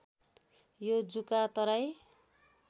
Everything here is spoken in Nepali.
यो जुका तराई